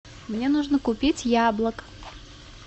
мне нужно купить яблок